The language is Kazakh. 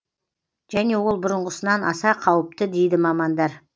және ол бұрынғысынан аса қауіпті дейді мамандар